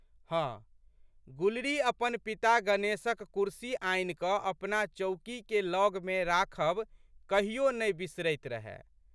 हँ, गुलरी अपन पिता गणेशक कुर्सी आनिकऽ अपना चौकीके लगमे राखब कहियो नहि बिसरैत रहए।